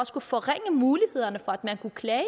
skulle forringe mulighederne for at man kunne klage